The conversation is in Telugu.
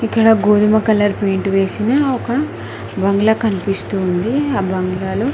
ఇక్కడ గోధుమ కలర్ పెయింట్ వేసిన ఒక బంగ్లా కనిపిస్తోంది ఆ బంగ్లాలో--